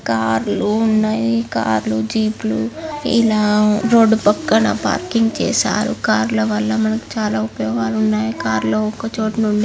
కార్లు ఉన్నాయి. కార్లు జీప్ లు ఇలా రోడ్డు పక్కన పార్కింగ్ చేశారు. కార్ల వల్ల మనకి చాలా ఉపయోగాలు ఉన్నాయి. కారు లో ఒక చోట నుండి--